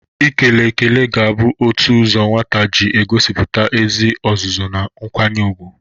Ikele ekele ga-abụ otu ụzọ nwata ji egosipụta ezi ọzụzụ na nkwanye ugwu.